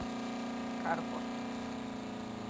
карпов